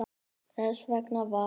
Þess vegna var